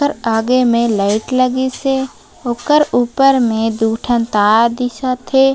ओकर आगे में लाइट लगिस हे ओकर ऊपर में दू ठन तार दिखत हे।